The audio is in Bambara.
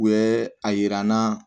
U bɛ a yira n na